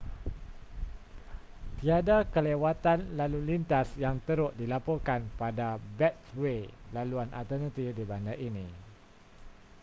tiada kelewatan lalu lintas yang teruk dilaporkan pada beltway laluan alternatif di bandar ini